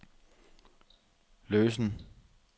løsen